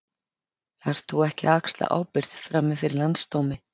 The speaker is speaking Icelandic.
Þarft þú ekki að axla ábyrgð, frammi fyrir Landsdómi?